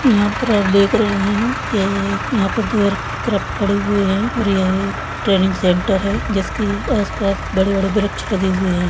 यहा पर आप देख रहे है यह यहा पर द्वेर एयरक्राफ्ट खड़े हुए है और है एक ट्रेनिंग सेंटर है जिसकी आस-पास बड़े-बड़े वृक्ष लगे हुए है।